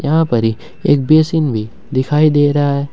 यहां परी एक बेसिन भी दिखाई दे रहा है।